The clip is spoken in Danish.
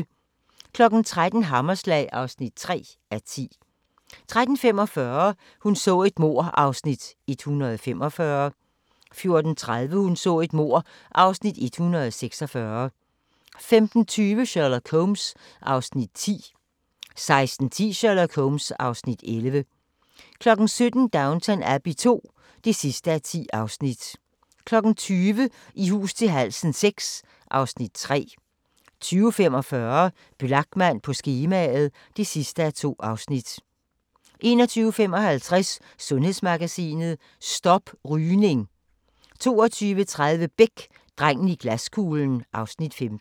13:00: Hammerslag (3:10) 13:45: Hun så et mord (Afs. 145) 14:30: Hun så et mord (Afs. 146) 15:20: Sherlock Holmes (Afs. 10) 16:10: Sherlock Holmes (Afs. 11) 17:00: Downton Abbey II (10:10) 20:00: I hus til halsen VI (Afs. 3) 20:45: Blachman på skemaet (2:2) 21:55: Sundhedsmagasinet: Stop rygning 22:30: Beck: Drengen i glaskuglen (Afs. 15)